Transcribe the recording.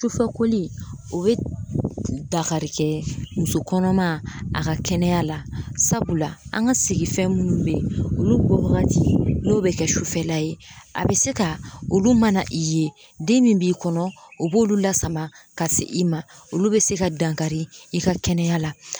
Sufɛkoli o bɛ dakari kɛ muso kɔnɔma a ka kɛnɛya la sabula an ka sigifɛn minnu bɛ ye olu bɔ wagati n'o bɛ kɛ sufɛla ye a bɛ se ka olu mana i ye den min b'i kɔnɔ o b'olu lasama ka se i ma olu bɛ se ka dankari i ka kɛnɛya la.